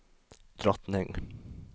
drottning